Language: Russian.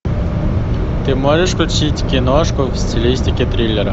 ты можешь включить киношку в стилистике триллера